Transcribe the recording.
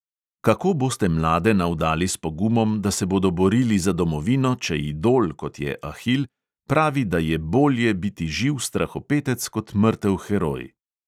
Kako boste mlade navdali s pogumom, da se bodo borili za domovino, če idol, kot je ahil, pravi, da je bolje biti živ strahopetec kot mrtev heroj?